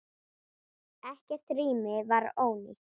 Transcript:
Ekkert rými var ónýtt.